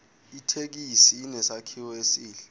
ithekisi inesakhiwo esihle